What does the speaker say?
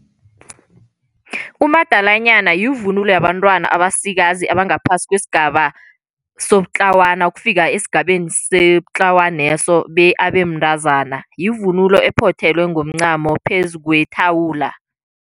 Umadalanyana yivunulo yabantwana abasikazi abangaphasi kwesigaba sobutlawana ukufika esigabeni sebutlawaneso abe mntazana. Yivunulo ophothelwe ngomncamo phezu kwethawula.